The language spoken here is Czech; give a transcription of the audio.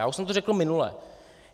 Já už jsem to řekl minule.